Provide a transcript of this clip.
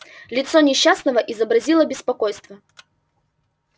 лицо несчастного изобразило беспокойство